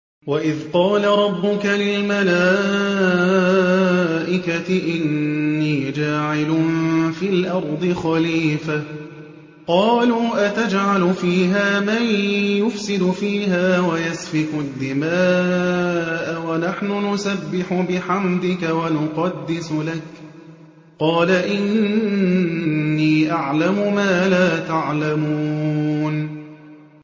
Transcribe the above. وَإِذْ قَالَ رَبُّكَ لِلْمَلَائِكَةِ إِنِّي جَاعِلٌ فِي الْأَرْضِ خَلِيفَةً ۖ قَالُوا أَتَجْعَلُ فِيهَا مَن يُفْسِدُ فِيهَا وَيَسْفِكُ الدِّمَاءَ وَنَحْنُ نُسَبِّحُ بِحَمْدِكَ وَنُقَدِّسُ لَكَ ۖ قَالَ إِنِّي أَعْلَمُ مَا لَا تَعْلَمُونَ